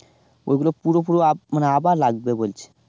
ওগুলো পুরো পুরো আব মানে আবার লাগবে বলছে